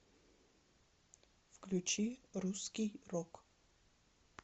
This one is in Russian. включи русский рок